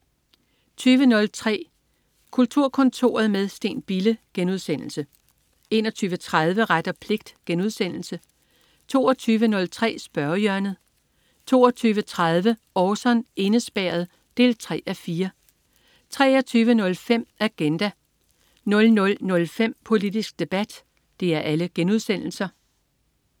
20.03 Kulturkontoret med Steen Bille* 21.30 Ret og pligt* 22.03 Spørgehjørnet* 22.30 Orson: Indespærret 3:4* 23.05 Agenda* 00.05 Politisk debat*